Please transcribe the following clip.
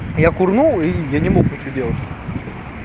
я курнул и я не мог этого делать